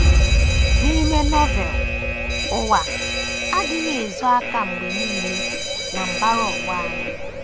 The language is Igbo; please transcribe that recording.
N’ime Novel, “ ụwa ” adịghị ezo aka mgbe nile na mbara ụwa anyị.